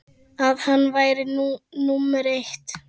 að hann væri númer eitt.